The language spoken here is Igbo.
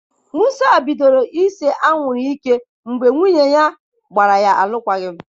Musa bidoro ise anwụrụ ike mgbe nwunye ya gbara ya alụkwaghịm.